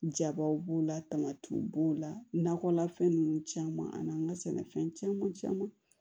Jabaw b'o la tamatiw b'o la nakɔlafɛn ninnu caman ani an ka sɛnɛfɛn caman caman